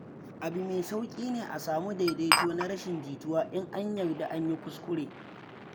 Abu mai sauƙi ne a samu daidaito na rashin jituwa in an yarda an yi kuskure.